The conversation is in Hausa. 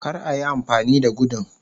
kar a Yi amfani da gudun